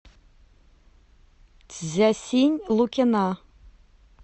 дзясинь лукина